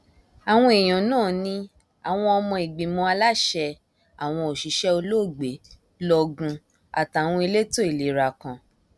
àwọn èèyàn náà ní àwọn ọmọ ìgbìmọ aláṣẹ àwọn òṣìṣẹ olóògbé lọgùn àtàwọn elétò ìlera kan